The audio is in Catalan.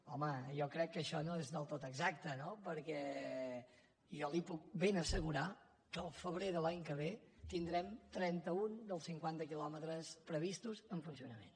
home jo crec que això no és del tot exacte no perquè jo li puc ben assegurar que el febrer de l’any que ve tindrem trenta un dels cinquanta quilòmetres previstos en funcionament